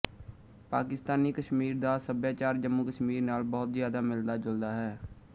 ਪਾਕਿਸਤਾਨੀ ਕਸ਼ਮੀਰ ਦਾ ਸੱਭਿਆਚਾਰ ਜੰਮੂਕਸ਼ਮੀਰ ਨਾਲ ਬਹੁਤ ਜਿਆਦਾ ਮਿਲਦਾ ਜੁਲਦਾ ਹੈ